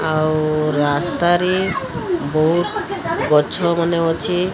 ଆଉ ରାସ୍ତା ରେ ବୋହୁତ୍ ଗଛ ମାନେ ଅଛି।